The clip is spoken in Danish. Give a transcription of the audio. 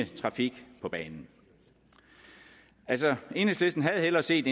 trafik på banen enhedslisten havde hellere set